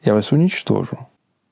я вас уничтожу